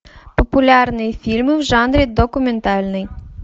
популярные фильмы в жанре документальный